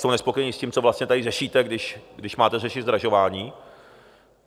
Jsou nespokojení s tím, co vlastně tady řešíte, když máte řešit zdražování.